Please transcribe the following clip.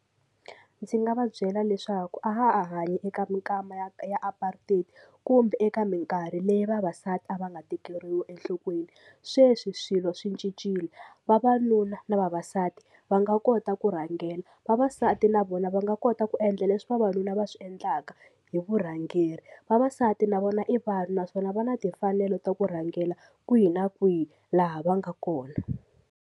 Ndzi nga va byela leswaku a ha ha hanyi eka minkama ya ya apartheid kumbe eka minkarhi leyi vavasati a va nga tekeriwi enhlokweni sweswi swilo swi cincile vavanuna na vavasati va nga kota ku rhangela vavasati na vona va nga kota ku endla leswi vavanuna va swi endlaka hi vurhangeri vavasati na vona i vanhu naswona va na timfanelo ta ku rhangela kwihi na kwihi laha va nga kona.